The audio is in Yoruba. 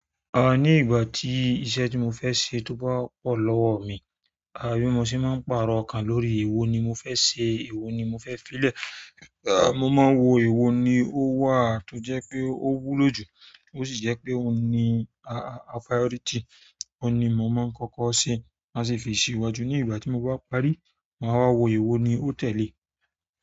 Ni ìgbà tí iṣẹ́ tímọ́ fẹ́ ṣe tó bá pọ̀ lọ́wọ́ mi bí mo ṣe má ń pàrọ̀ ọkàn lórí èwo ni mo fẹ́ ṣe èwo ni mo fẹ́ file. Ah, mo máa wo èwo ni ó wà tó jẹ́ pé ó wúlò jù, ó sì jẹ́ pé ó ni a-a priority. Ó ni mo máa ń kọ́kọ́ ṣe, má sì fi ìṣíwájú ní ìgbà tí mo bá parí, mà á wáa wo èwo ni ó tẹ̀lé.